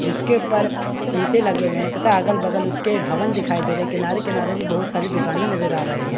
जिसके ऊपर शीशे लगे हुए हैं तथा अगल-बगल उसके भवन दिखाई दे रहे है किनारे-किनारे भी बहोत सारी दुकानें नजर आ रही है।